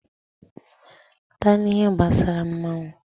Pụta n'ihe gbasara mmọnwụ!